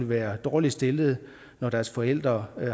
være dårligt stillede når deres forældre